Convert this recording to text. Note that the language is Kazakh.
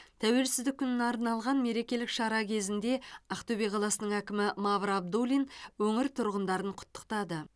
тәуелсіздік күніне арналған мерекелік шара кезінде ақтөбе қаласының әкімі мавр абдуллин өңір тұрғындарын құттықтады